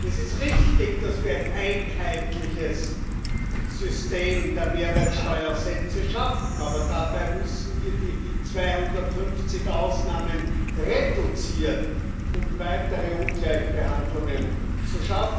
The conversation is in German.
Es ist richtig, dass wir ein einheitliches System der Mehrwertsteuersätze schaffen. Aber dabei müssen wir die 250 Ausnahmen reduzieren, um weitere Ungleichbehandlungen zu beseitigen.